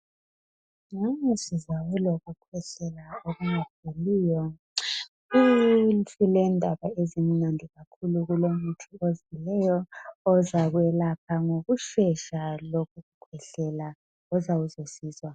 Ngani sizaba lokukhwehlela okungapheliyo silendaba ezimnandi kakhulu ulomuthi ozileyo ozakwelapha ngokushesha lokhu kukhwehlela Kuzasisiza